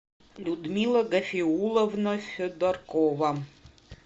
людмила гафиулловна федоркова